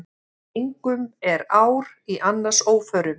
Engum er ár í annars óförum.